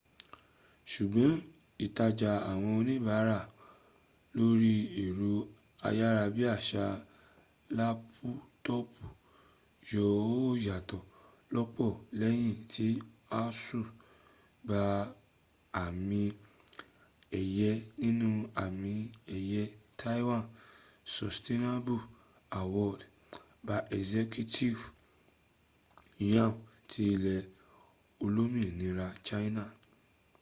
sùgbọ́n ìtajà àwọn oníbàárà lórí ẹ̀rọ ayára bí àṣá lápútọọ̀pù yóó yàtọ̀ lọ́pọ̀ lẹ́yìn tí asus gba àmì ẹ̀yẹ nínú àmì ẹ̀yẹ taiwan sustainable award by executive yuan ti ilẹ̀ olómìnira china